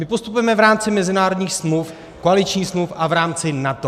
My postupujeme v rámci mezinárodních smluv, koaličních smluv a v rámci NATO.